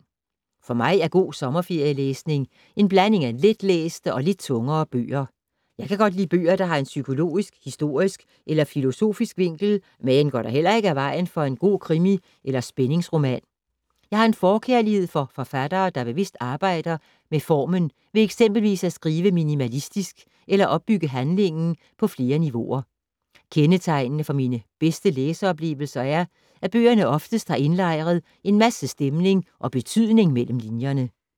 For mig er god sommerferielæsning en blanding af letlæste og lidt tungere bøger. Jeg kan godt lide bøger, der har en psykologisk, historisk eller filosofisk vinkel, men går heller ikke af vejen for en god krimi eller spændingsroman. Jeg har en forkærlighed for forfattere, der bevidst arbejder med formen ved eksempelvis at skrive minimalistisk eller opbygge handlingen på flere niveauer. Kendetegnende for mine bedste læseoplevelser er, at bøgerne oftest har indlejret en masse stemning og betydning mellem linjerne.